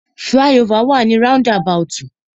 Fly-over wà ni roundabout.